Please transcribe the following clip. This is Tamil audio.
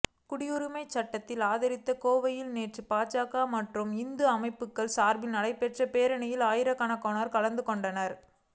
குடியுரிமை சட்டத்தை ஆதரித்து கோவையில் நேற்று பாஜக மற்றும் இந்து அமைப்புகள் சார்பில்நடைபெற்ற பேரணியில் ஆயிரக்கணக்கானோர் கலந்துகொண்டனர்